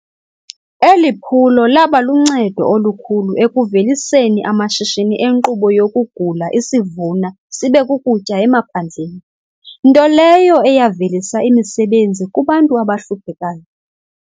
Eliphulo labaluncedo olukhulu ekuveliseni amashishini enkqubo yokugula isivuna sibekukutya emaphandleni, nto leyo eyavelisa imisebenzi kubantu abahluphekayo.